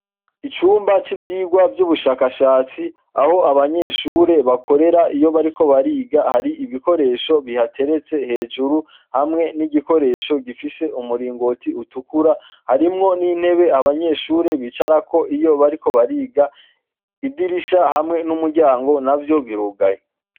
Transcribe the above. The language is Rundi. Icumba c'ivyigwa vy'ubushakashatsi aho abanyeshure bakorera iyo bariko bariga hari ibikoresho bihateretse hejuru hamwe n'igikoresho gifise umuringoti utukura harimwo n'intebe abanyeshure bicarako iyo bariko bariga idirisha hamwe n'umuryango navyo birugaye.